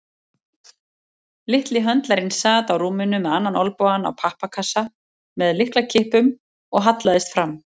Litli höndlarinn sat á rúminu með annan olnbogann á pappakassa með lyklakippum og hallaðist fram.